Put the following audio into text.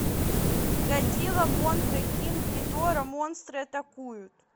годзилла мотра кинг гидора монстры атакуют